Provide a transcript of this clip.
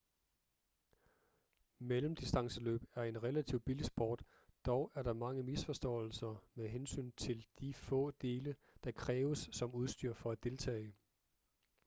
mellemdistanceløb er en relativt billig sport dog er der mange misforståelser med hensyn til de få dele der kræves som udstyr for at deltage